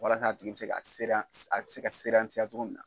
Walasa a tigi bɛ se ka sereya cogo min na.